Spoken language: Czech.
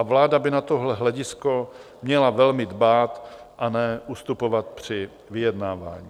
A vláda by na tohle hledisko měla velmi dbát a ne ustupovat při vyjednávání.